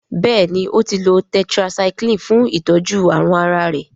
béèni o tí lọ tetracycline fún itọjú àrùn àrà rẹ.